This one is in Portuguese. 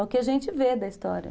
É o que a gente vê da história.